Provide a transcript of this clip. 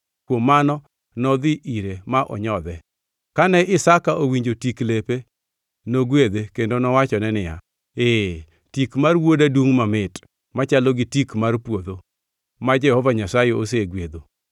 Kuom mano nodhi ire ma onyodhe. Kane Isaka owinjo tik lepe, nogwedhe kendo owachone niya, “Ee, tik mar wuoda dungʼ mamit machalo gi tik mar puodho, ma Jehova Nyasaye osegwedho.